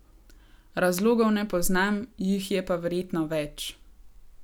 Razlogov ne pozam, jih je pa verjetno več.